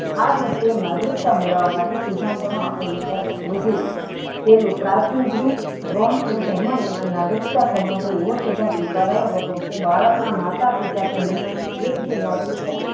આ દ્રીશ્તીયે નાગરિકતા મેળવા માટે સિદ્ધાંતો ને આપળે વિચાર કરવો જોયીયે તેનુ પ્રાચીન ગ્રીક રોમ અને ધર્મ ની નાગરિકતા સંબંધો એવો સિદ્ધાંત સ્વીકારાયો હતો કે બાળક ના માતા પિતા કે બેહન મા થી એક ભી નાગરિકતા